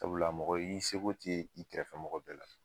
Sabula mɔgɔ i seko te i kɛrɛfɛ mɔgɔ bɛɛ la.